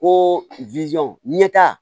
Ko ɲɛta